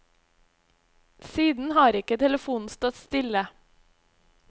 Siden har ikke telefonen stått stille.